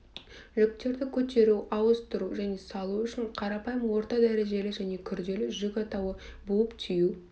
жүктерді көтеру ауыстыру және салу үшін қарапайым орта дәрежелі және күрделі жүк атауы буып-түю